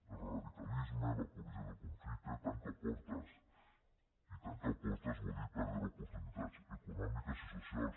el radicalisme l’apologia del conflicte tanca portes i tancar portes vol dir perdre oportunitats econòmiques i socials